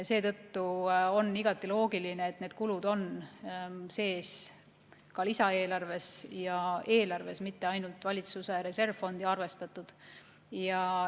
Seetõttu on igati loogiline, et need kulud on sees ka lisaeelarves ja eelarves, mitte ainult valitsuse reservfondi arvestatud.